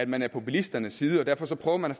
man er på bilisternes side og derfor prøver man